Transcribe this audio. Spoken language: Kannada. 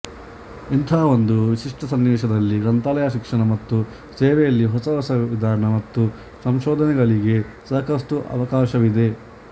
ಇಂಥ ಒಂದು ವಿಶಿಷ್ಟ ಸನ್ನಿವೇಶದಲ್ಲಿ ಗ್ರಂಥಾಲಯ ಶಿಕ್ಷಣ ಮತ್ತು ಸೇವೆಯಲ್ಲಿ ಹೊಸ ಹೊಸ ವಿಧಾನ ಮತ್ತು ಸಂಶೋಧನೆಗಳಿಗೆ ಸಾಕಷ್ಟು ಅವಕಾಶವಿದೆ